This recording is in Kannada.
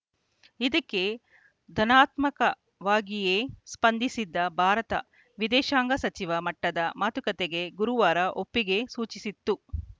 ಇದಕ್ಕೆ ಧನಾತ್ಮಕವಾಗಿಯೇ ಸ್ಪಂದಿಸಿದ್ದ ಭಾರತ ವಿದೇಶಾಂಗ ಸಚಿವ ಮಟ್ಟದ ಮಾತುಕತೆಗೆ ಗುರುವಾರ ಒಪ್ಪಿಗೆ ಸೂಚಿಸಿತ್ತು